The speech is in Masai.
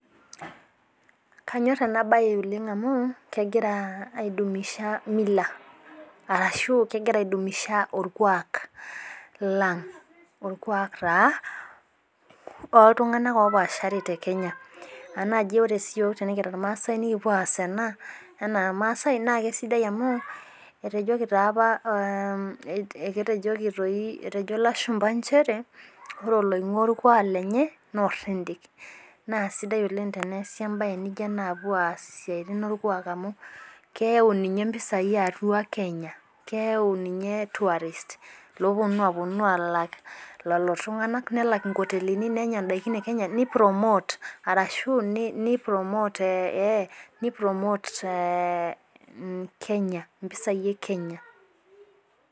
Kanyor ena bae oleng amu, kegira ai dumisha mila. arashu kegira aidumisha orkuaak lang'.orkuak taa looltunganak opaashari te Kenya tenaa ore sii iyiook irmaasae nikipuo aas ena, enaa irmaasae .naa kisidai amu. etejoki taa apa eketejoki, etejo lashumpa nchere ore oloingua orkuaak lenye. naa oridiki. naa sidai oleng teneesi embae naijo ena. aapuo aas isiatin orkuaak, amu keyau ninye mpisai atua kenya. keyau ninye tourist loopuonu aapuo aalak lelo tunganak. nelak nkotelini. nenya daikin e Kenya.ni promote arashu, ni promote Kenya. mpisai e kenya.